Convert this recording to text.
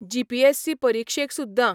GPSC परिक्षेक सुद्दां